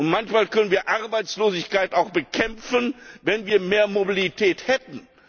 Manchmal könnten wir Arbeitslosigkeit auch bekämpfen, wenn wir mehr Mobilität hätten.